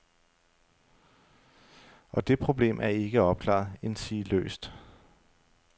Og det problem er ikke opklaret, endsige løst.